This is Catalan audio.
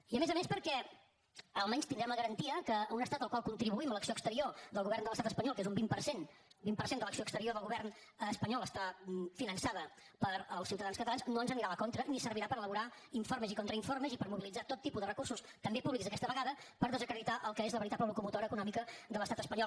i a més a més perquè almenys tindrem la garantia que un estat al qual contribuïm l’acció exterior del govern de l’estat espanyol que és un vint per cent un vint per cent de l’acció exterior del govern espanyol està finançada pels ciutadans catalans no ens anirà a la contra ni servirà per elaborar informes i contrainformes i per mobilitzar tot tipus de recursos també públics aquesta vegada per desacreditar el que és la veritable locomotora econòmica de l’estat espanyol